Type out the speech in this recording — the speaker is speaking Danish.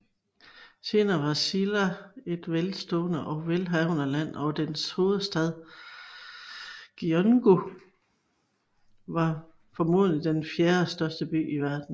Senere var Silla et velstående og velhavende land og dens hovedstad Gyeongju var formodentlig den fjerde største by i verden